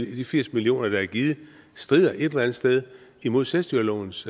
de firs millioner der er givet strider et eller andet sted imod selvstyrelovens